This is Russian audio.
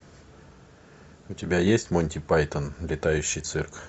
у тебя есть монти пайтон летающий цирк